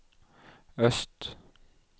øst